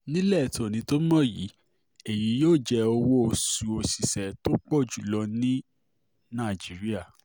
nílẹ̀ tòní tó mọ̀ yìí èyí ni yóò jẹ́ owó-oṣù òṣìṣẹ́ tó pọ̀ jù lọ ní nàìjíríà